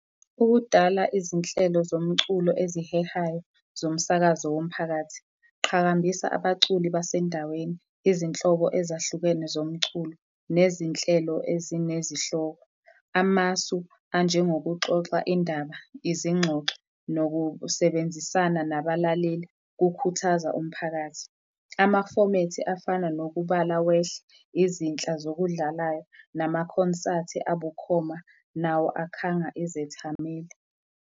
Ukudala izinhlelo zomculo ezihehayo zomsakazo womphakathi, qhakambisa abaculi basendaweni, izinhlobo ezahlukene zomculo nezinhlelo ezinezihloko, amasu anjengokuxoxa indaba, izingxoxo nokusebenzisana nabalaleli kukhuthaza umphakathi. Amafomethi afana nokubala wehle, izinhla zokudlalayo namakhonsathi abukhoma, nawo akhanga izethameli.